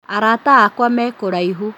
Arata akwa me kũraihu